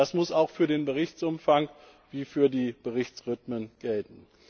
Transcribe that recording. Das muss auch für den Berichtsumfang und für die Berichtsrhythmen gelten.